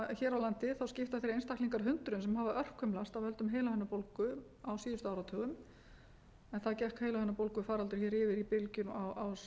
landi skipta þeir einstaklingar hundruðum sem hafa örkumlast af völdum heilahimnubólgu á síðustu áratugum enda gekk heilahimnubólgufaraldur hér yfir í bylgjum á seinni